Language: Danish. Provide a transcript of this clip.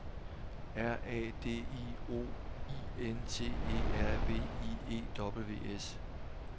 R A D I O I N T E R V I E W S